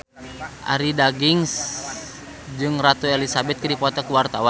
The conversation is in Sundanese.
Arie Daginks jeung Ratu Elizabeth keur dipoto ku wartawan